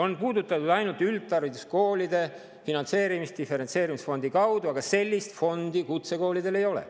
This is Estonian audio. On puudutatud ainult üldhariduskoolide finantseerimist diferentseerimisfondi kaudu, aga sellist fondi kutsekoolidel ei ole.